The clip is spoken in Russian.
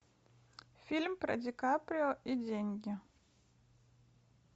фильм про ди каприо и деньги